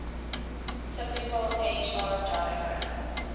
typical hr diagram